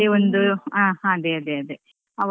ಯಾವದೇ ಒಂದು ಹ ಅದೇ ಅದೇ.